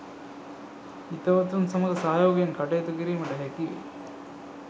හිතවතුන් සමග සහයෝගයෙන් කටයුතු කිරීමට හැකිවේ